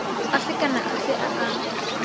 afe kana afe a a